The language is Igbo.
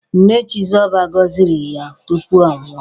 Nne Chizoba goziri ya tupu ọ nwụọ.